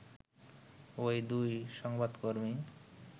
ওই দুই সংবাদকর্মী